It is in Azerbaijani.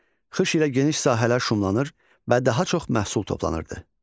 Xış ilə geniş sahələr şumlanır və daha çox məhsul toplanırdı.